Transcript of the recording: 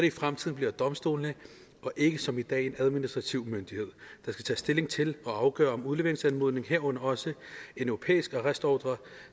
i fremtiden bliver domstolene og ikke som i dag en administrativ myndighed der skal tage stilling til og afgøre om en udleveringsanmodning herunder også en europæisk arrestordre